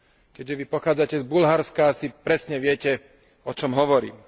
Keďže Vy pochádzate z Bulharska, asi presne viete, o čom hovorím.